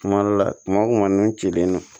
Kuma dɔ la kuma o kuma n'i cilen don